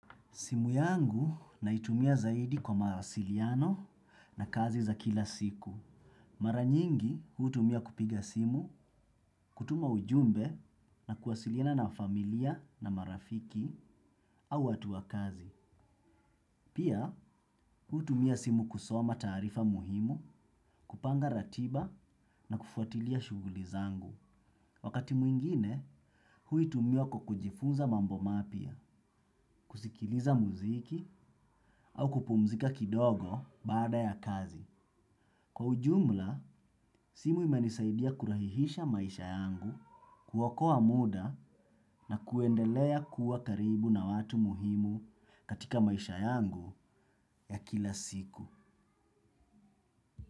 Simu yangu naitumia zaidi kwa mawasiliano na kazi za kila siku. Mara nyingi hutumia kupiga simu, kutuma ujumbe na kuwasiliana na familia na marafiki au watu wa kazi. Pia hutumia simu kusoma taarifa muhimu, kupanga ratiba na kufuatilia shughuli zangu. Wakati mwingine, huitumia kwa kujifunza mambo mapya, kusikiliza muziki au kupumzika kidogo baada ya kazi. Kwa ujumla, simu imenisaidia kurahisisha maisha yangu kuokoa muda na kuendelea kuwa karibu na watu muhimu katika maisha yangu ya kila siku.